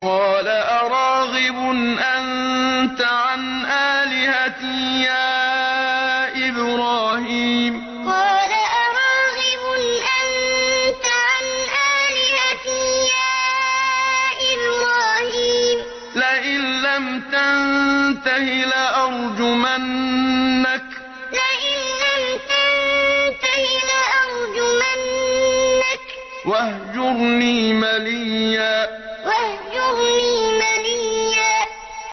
قَالَ أَرَاغِبٌ أَنتَ عَنْ آلِهَتِي يَا إِبْرَاهِيمُ ۖ لَئِن لَّمْ تَنتَهِ لَأَرْجُمَنَّكَ ۖ وَاهْجُرْنِي مَلِيًّا قَالَ أَرَاغِبٌ أَنتَ عَنْ آلِهَتِي يَا إِبْرَاهِيمُ ۖ لَئِن لَّمْ تَنتَهِ لَأَرْجُمَنَّكَ ۖ وَاهْجُرْنِي مَلِيًّا